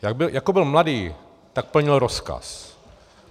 Jak byl mladý, tak plnil rozkaz.